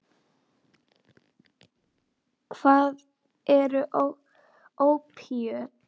Hvað eru ópíöt?